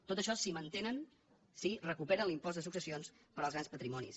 tot això si mantenen si recuperen l’impost de successions per als grans patrimonis